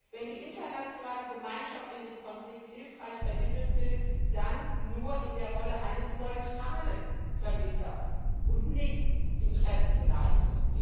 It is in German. Wenn die internationale Gemeinschaft in dem Konflikt hilfreich vermitteln will, dann nur in der Rolle eines neutralen Vermittlers und nicht interessengeleitet.